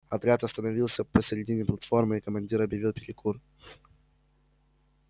отряд остановился посередине платформы и командир объявил перекур